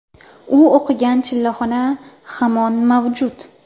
U o‘qigan chillaxona hamon mavjud.